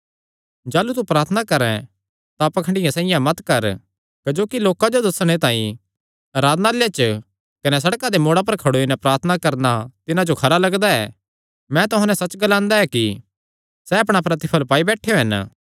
जाह़लू तू प्रार्थना करैं तां पाखंडियां साइआं मत कर क्जोकि लोकां जो दस्सणे तांई आराधनालयां च कने सड़कां दे मोड़ां पर खड़ोई नैं प्रार्थना करणा तिन्हां जो खरा लगदा ऐ मैं तुहां नैं सच्च ग्लांदा ऐ कि सैह़ अपणा प्रतिफल़ पाई बैठेयो हन